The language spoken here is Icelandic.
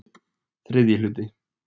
III hluti